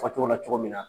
Fɔ cogo la cogo min na